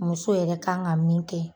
Muso yɛrɛ ka kan ka min kɛ.